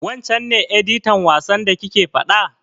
Wancen ne editan wasan da kike faɗa?